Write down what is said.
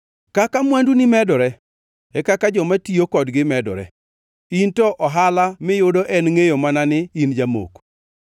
Kaka mwanduni medore, e kaka joma tiyo kodgi medore. In to ohala miyudo en ngʼeyo mana ni in jamoko?